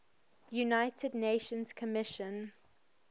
united nations commission